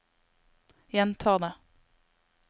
gjenta det